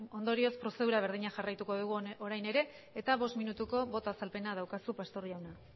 ondorioz prozedura berdina jarraituko dugu orain ere bost minutuko boto azalpena daukazu pastor jauna